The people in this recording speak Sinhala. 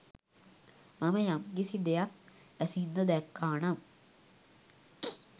මම යම්කිසි දෙයක් ඇසින්ද දැක්කා නම්